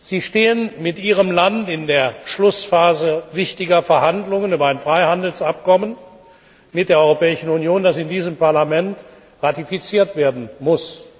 Sie stehen mit Ihrem Land in der Schlussphase wichtiger Verhandlungen über ein Freihandelsabkommen mit der Europäischen Union, das in diesem Parlament ratifiziert werden muss.